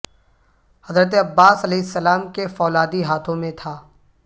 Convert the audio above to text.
حضرت عباس علیہ السلام کے فولادی ہاتھوں میں تھا